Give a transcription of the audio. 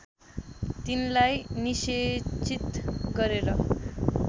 तिनलाई निषेचित गरेर